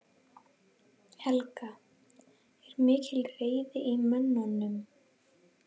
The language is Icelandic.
Helga: Er mikil reiði í mönnum?